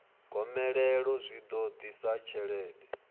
gomelelo zwi ḓo ḓisa tshelede